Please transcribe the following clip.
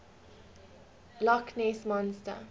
loch ness monster